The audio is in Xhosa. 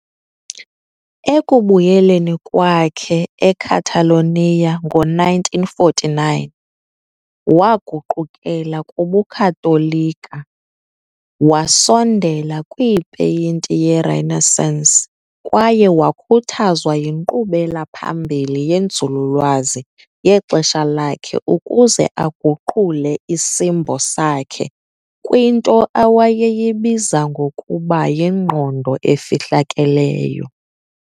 Ekubuyeleni kwakhe eCatalonia ngo-1949, waguqukela kubuKatolika, wasondela kwipeyinti yeRenaissance kwaye wakhuthazwa yinkqubela phambili yenzululwazi yexesha lakhe ukuze aguqule isimbo sakhe kwinto awayeyibiza ngokuba "yingqondo efihlakeleyo".